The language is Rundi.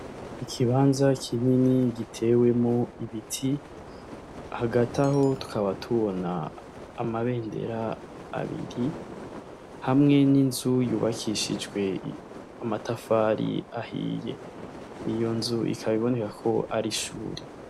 Ikibanza kinyini gitewemo ibiti hagataho tukaba tubona amabendera abiri hamwe n'inzu yubakishijwe amatafari ahiye iyo nzu ikabiboneka ko arishuri.